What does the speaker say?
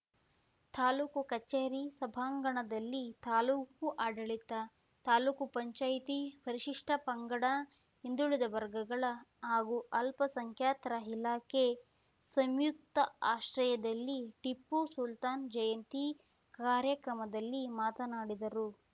ತಾಲೂಕು ಕಚೇರಿ ಸಭಾಂಗಣದಲ್ಲಿ ತಾಲೂಕು ಆಡಳಿತ ತಾಲೂಕು ಪಂಚಾಯತಿ ಪರಿಷಿಷ್ಠ ಪಂಗಡ ಹಿಂದುಳಿದ ವರ್ಗಗಳ ಹಾಗೂ ಅಲ್ಪ ಸಂಖ್ಯಾತರ ಇಲಾಖೆ ಸಂಯುಕ್ತಾ ಆಶ್ರಯದಲ್ಲಿ ಟಿಪ್ಪು ಸುಲ್ತಾನ್‌ ಜಯಂತಿ ಕಾರ್ಯಕ್ರಮದಲ್ಲಿ ಮಾತನಾಡಿದರು